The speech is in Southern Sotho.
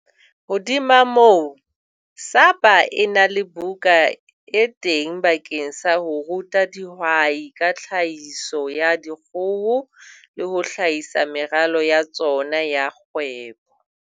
Hodima moo, SAPA e na le buka e teng bakeng sa ho ruta dihwai ka tlhahiso ya dikgoho le ho hlahisa meralo ya tsona ya kgwebo.